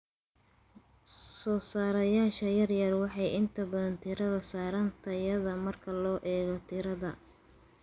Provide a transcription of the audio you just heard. Soosaarayaasha yaryar waxay inta badan diiradda saaraan tayada marka loo eego tirada.